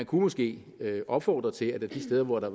kunne måske opfordres til at der de steder hvor der